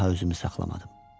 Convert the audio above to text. Daha özümü saxlamadım.